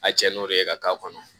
A cɛn n'o de ye ka k'a kɔnɔ